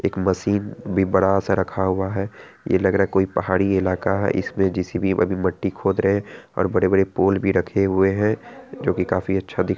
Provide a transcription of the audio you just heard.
एक मशीन भी बड़ा सा रखा हुआ है ये लग रहा है कोई पहाड़ी इलाका है इसमें जे_सी_बी अभी मट्टी खोद रहे है और बड़े-बड़े पोल भी रखे हुए है जो कि काफी अच्छा --